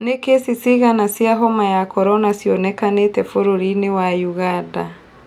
Nĩ kesi cigana cia homa ya korona cionekanĩte bũrũri wa Ũganda